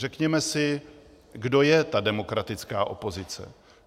Řekněme si, kdo je ta demokratická opozice.